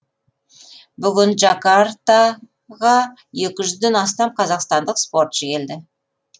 бүгін джакарта ға екі жүзден астам қазақстандық спортшы келді